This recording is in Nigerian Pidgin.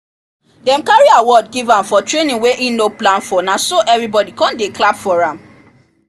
dem carry award give am for training wey e no plan for na so everybody come dey clap for am